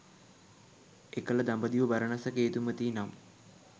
එකල දඹදිව බරණැස කේතුමති නම්